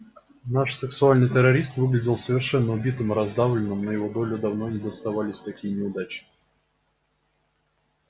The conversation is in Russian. наш сексуальный террорист выглядел совершенно убитым и раздавленным на его долю давно не доставались такие неудачи